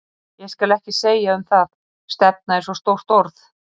Ég skal ekki segja um það, stefna er svo stórt orð.